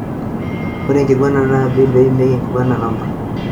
Ore enkiguana ena bill na peimieki enkiguena namba